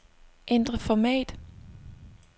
Ændr format.